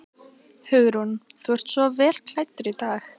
Hugrún: Þú ert svo vel klæddur í dag?